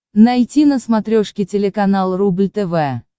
найти на смотрешке телеканал рубль тв